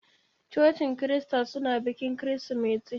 Cocin Kirista suna bikin Kirsimeti.